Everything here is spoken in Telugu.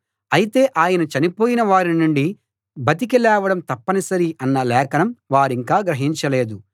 అయితే ఆయన చనిపోయిన వారి నుండి బతికి లేవడం తప్పనిసరి అన్న లేఖనం వారింకా గ్రహించలేదు